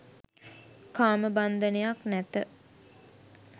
කාමබන්ධනයක් නැත